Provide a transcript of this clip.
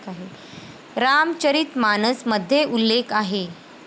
रामचरित मानस मध्ये उल्लेख आहे.